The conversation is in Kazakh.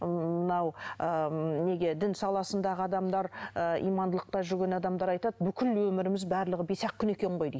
ыыы мынау ыыы неге дін саласындағы адамдар ы имандылықта жүрген адамдар айтады бүкіл өміріміз барлығы бес ақ күн екен ғой дейді